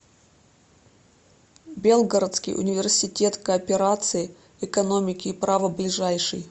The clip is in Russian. белгородский университет кооперации экономики и права ближайший